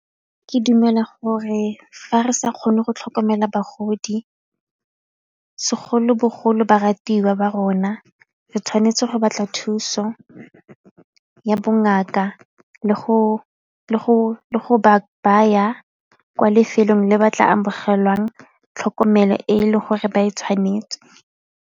Ke dumela gore fa re sa kgone go tlhokomela bagodi segolobogolo ba ratiwa ba rona re tshwanetse go batla thuso ya bongaka le go ba baya kwa lefelong le ba tla amogelang tlhokomelo e e leng gore ba e tshwanetse.